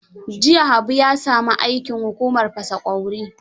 Jiya Haabu ya sami aikin hukumar fasa ƙwauri.